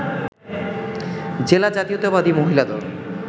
জেলা জাতীয়তাবাদী মহিলা দল